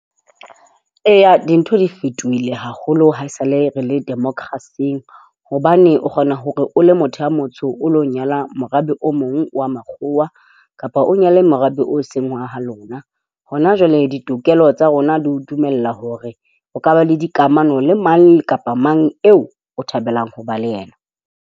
Eya, dintho di fetohile haholo. Haesale re le democracy-eng hobane o kgona hore o le motho a motsho, o ilo nyala morabe o mong wa Makgowa kapa o nyale morabe o seng wa ha lona. Hona jwale ditokelo tsa rona di o dumella hore o ka ba le dikamano le mang kapa mang eo o thabelang ho ba le yena.